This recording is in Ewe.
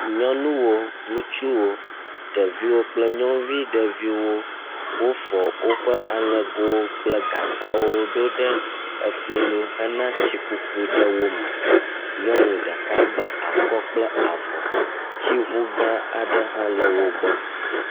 Nyɔnuwo, ŋutsuwo, ɖeviwo kple nyɔnuvi ɖeviwo, wofɔ woƒe aŋɛgo kple gagbawo ɖo ɖe efli nu hena etsi kuku ɖe wome, nyɔnu ɖeka gba akɔ plke avɔ tsiŋuga aɖe hã le wo gbɔ